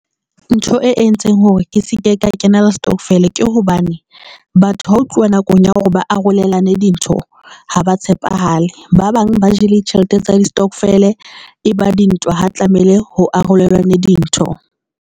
Ntho e entseng hore ke se ke ka kena le stokvel ke hobane batho ha ho tluwa nakong ya hore ba arolelane dintho ha ba tshepahale, ba bang ba jele tjhelete tsa distokvel eba dintwa ha o tlamehile ho arolelwane dintho.